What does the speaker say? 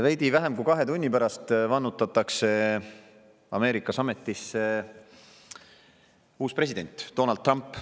Veidi vähem kui kahe tunni pärast vannutatakse Ameerikas ametisse uus president, Donald Trump.